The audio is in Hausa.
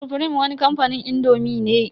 Sufrim wani kamfanin indomi ne.